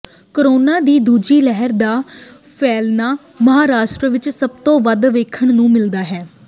corona ਦੀ ਦੂਜੀ ਲਹਿਰ ਦਾ ਫੈਲਣਾ ਮਹਾਰਾਸ਼ਟਰ ਵਿੱਚ ਸਭ ਤੋਂ ਵੱਧ ਵੇਖਣ ਨੂੰ ਮਿਲਦਾ ਹੈ